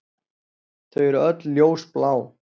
Þau eru öll ljósblá.